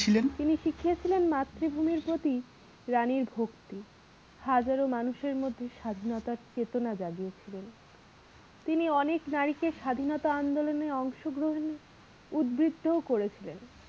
ছিলেন? তিনি শিখিয়েছিলেন মাতৃভূমির প্রতি রানীর ভক্তি হাজারো মানুষের মধ্যে স্বাধীনতার চেতনা জাগিয়ে ছিলেন তিনি অনেক নারীকে স্বাধীনতা আন্দোলনে অংশগ্রহণ উদ্ভৃক্ত ও করেছিলেন।